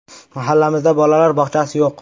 “Mahallamizda bolalar bog‘chasi yo‘q.